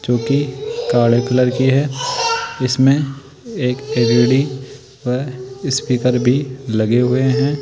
जो कि काले कलर की है इसमें एक एल_इ_डी व स्पीकर भी लगे हुए हैं।